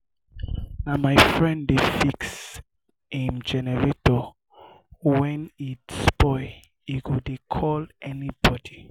na my friend dey fix im generator wen e spoil e no dey call anybodi.